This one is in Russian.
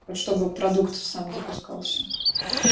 вот чтобы продукт сам запускался